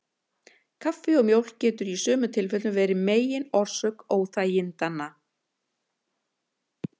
Kaffi og mjólk getur í sumum tilfellum verið megin orsök óþægindanna.